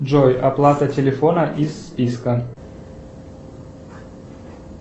джой оплата телефона из списка